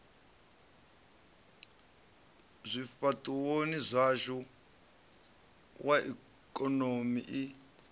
zwifhaṱuwoni zwashu wa ikonomi i